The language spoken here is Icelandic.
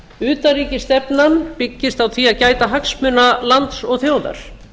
utanríkisstefnan byggist á því að gæta hagsmuna lands og þjóðar